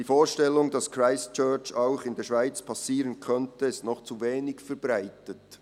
«Die Vorstellung, dass Christchurch auch in der Schweiz passieren könnte, ist noch zu wenig verbreitet.»